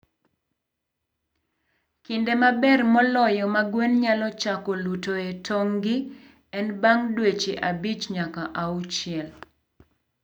Kinde maber moloyo ma gwen nyalo chako lutoe tong'gi en bang' dweche abich nyaka auchiel.